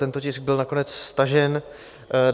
Tento tisk byl nakonec stažen.